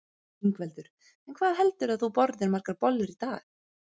Ingveldur: En hvað heldurðu að þú borðir margar bollur í dag?